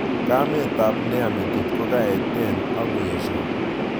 Kamet ab neya metit ko kaeten akoyesho